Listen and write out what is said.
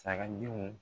Sagadenw